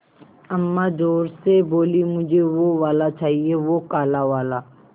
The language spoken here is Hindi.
अम्मा ज़ोर से बोलीं मुझे वो वाला चाहिए वो काला वाला